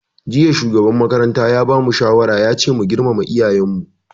Jiya shugaban makaranta ya bamu shawaran cewa mu girmama iyayen mu